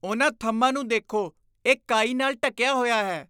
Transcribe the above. ਉਨ੍ਹਾਂ ਥੰਮ੍ਹਾਂ ਨੂੰ ਦੇਖੋ। ਇਹ ਕਾਈ ਨਾਲ ਢੱਕਿਆ ਹੋਇਆ ਹੈ।